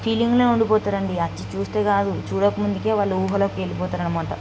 Feeling లో ఉండిపోతారు అండి. అది చూస్తే కాదు చూడకు ముందుకే వాళ్ళు ఊహలకి వెళ్ళిపోతారు అన్నమాట.